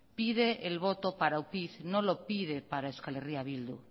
pide el voto para upyd no lo pide para euskal herria bildu